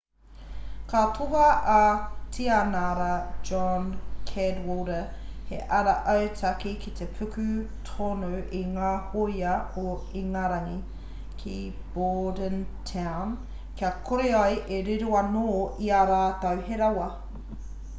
ka tohua e tianara john cadwalder he ara autaki ki te puku tonu o ngā hoia o ingarangi ki bordentown kia kore ai e riro anō i ā rātou he rawa